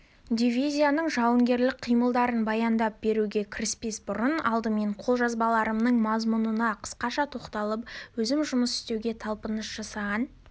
дивизияның жауынгерлік қимылдарын баяндап беруге кіріспес бұрын алдымен қолжазбаларымның мазмұнына қысқаша тоқталып өзім жұмыс істеуге талпыныс жасаған